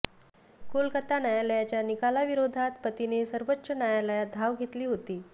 कोलकाता न्यायालयाच्या निकालाविरोधात पतीने सर्वोच्च न्यायालयात धाव घेतली होती